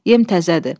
Yem təzədir.